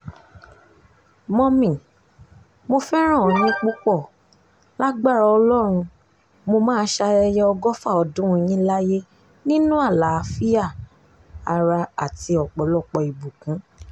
mọ́mì mo fẹ́ràn yín púpọ̀ lágbára ọlọ́run mo máa ṣayẹyẹ ọgọ́fà ọdún yín láyé nínú àlàáfíà ara àti ọ̀pọ̀lọpọ̀ ìbùkún